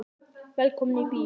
Velkomnir í bíó.